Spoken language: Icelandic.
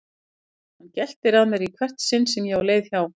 Hann geltir að mér í hvert sinn sem ég á leið hjá.